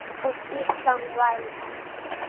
Og Ísland var með.